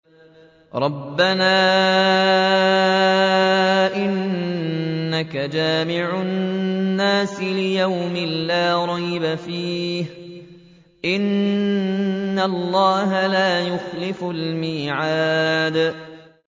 رَبَّنَا إِنَّكَ جَامِعُ النَّاسِ لِيَوْمٍ لَّا رَيْبَ فِيهِ ۚ إِنَّ اللَّهَ لَا يُخْلِفُ الْمِيعَادَ